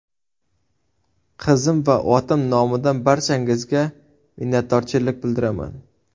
Qizim va otam nomidan barchangizga minnatdorchilik bildiraman...”.